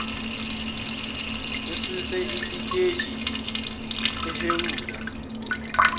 ususwa esiteji ehhewula